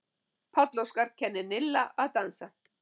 Páll Óskar kennir Nilla að dansa